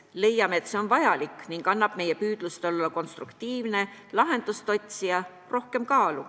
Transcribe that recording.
Leiame, et see on vajalik ning annab meie püüdlustele olla konstruktiivne lahenduste otsija rohkem kaalu.